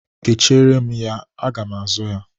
Kechiere m ya. Aga m azụ ya.